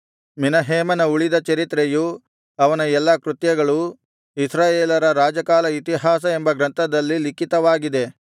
ಮೆನಹೇಮನ ಉಳಿದ ಚರಿತ್ರೆಯೂ ಅವನ ಎಲ್ಲಾ ಕೃತ್ಯಗಳೂ ಇಸ್ರಾಯೇಲರ ರಾಜಕಾಲ ಇತಿಹಾಸ ಎಂಬ ಗ್ರಂಥದಲ್ಲಿ ಲಿಖಿತವಾಗಿದೆ